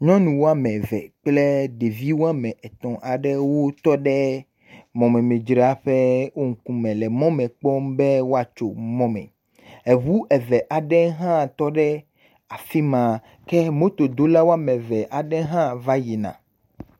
Nyɔnuwo ame eve kple ɖeviwo ame etɔ aɖewo tɔɖe mɔmemidzraƒe wo ŋkume le mɔme kpɔm be woatso mɔme eʋu eve aɖe tɔɖe afima ke mɔtodolawo ame eve aɖe ha va yina